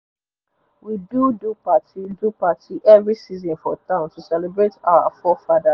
we do do partyy do partyy every season for town to celebrate our fore fathers